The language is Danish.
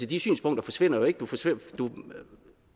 de synspunkter forsvinder ikke